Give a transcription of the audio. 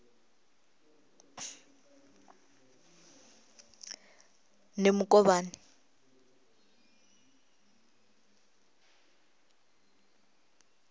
nemukovhani